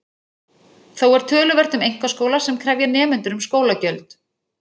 Þó er töluvert um einkaskóla sem krefja nemendur um skólagjöld.